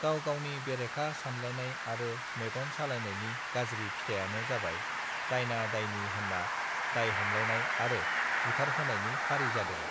गाव गावनि बेरेखा सानलायनाय आरो मेगन सालायनायनि गाज्रि फिथाइआनो जाबाय दायना दयनी होनना दाय हमलायनाय आरो बुथारहोनायनि फारि जादों